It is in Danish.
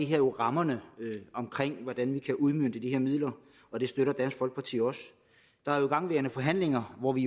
her jo rammerne omkring hvordan vi kan udmønte de her midler og det støtter dansk folkeparti også der er jo igangværende forhandlinger hvor vi